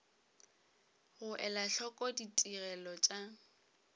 go ela hloko ditigelo tša